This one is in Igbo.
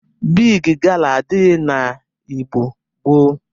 Bịgị gala adịghị na Igbo gboo.